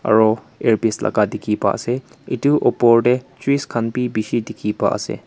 aru earpiece laka dikhi paa ase etu opor te trees khan bi bishi dikhi pa ase.